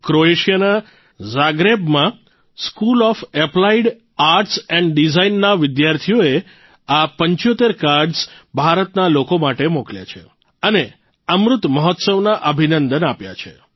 ક્રોએશિયાના જાગ્રેબમાં school of applied arts and design ના વિદ્યાર્થીઓએ આ ૭૫ કાર્ડઝ ભારતના લોકો માટે મોકલ્યા છે અને અમૃત મહોત્સવના અભિનંદન આપ્યા છે